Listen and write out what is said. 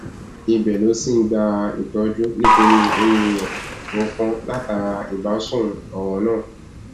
ibẹ ló ti ń gbàtọjú nítorí eyín rẹ tó tó kàn látara ìbásun ọràn náà